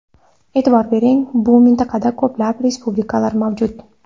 E’tibor bering, bu mintaqada ko‘plab respublikalar mavjud.